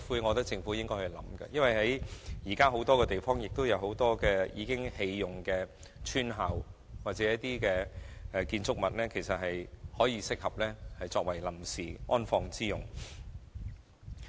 我認為這是政府必須考慮的，因為現時全港有很多已荒廢的村校或建築物適合作為臨時安放骨灰之用。